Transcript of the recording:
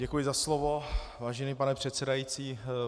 Děkuji za slovo, vážený pane předsedající.